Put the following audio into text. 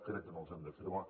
crec que no les hem d’afirmar